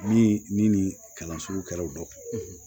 Ni ni nin kalanso kɛra u dɔ